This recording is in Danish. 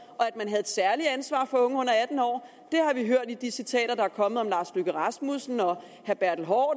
havde et særligt ansvar for unge under atten år det har vi hørt i de citater der er kommet om herre lars løkke rasmussen og herre